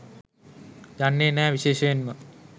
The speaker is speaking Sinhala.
යන්නේ නෑ විශේෂයෙන්ම